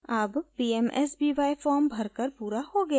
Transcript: अब pmsby form भर कर पूरा हो गया है